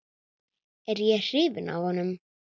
Er ég hrifinn af honum?